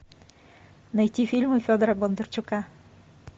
найти фильмы федора бондарчука